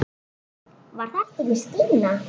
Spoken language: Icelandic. Var þetta ekki Stína?